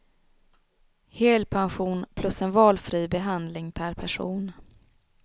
Helpension plus en valfri behandling per person.